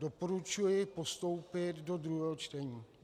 Doporučuji postoupit do druhého čtení.